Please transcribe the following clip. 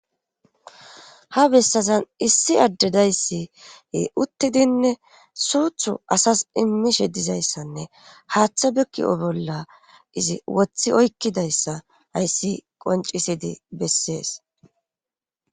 ha bessazan issi addedayssie uttidinne suuthu asas immishe dizayssanne haaththe bekki7o bolla izi wothi oykkidayssa hayssi qoncisidi bessees